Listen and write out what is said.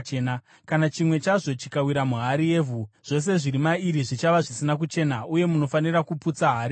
Kana chimwe chazvo chikawira muhari yevhu, zvose zviri mairi zvichava zvisina kuchena, uye munofanira kuputsa hari yacho.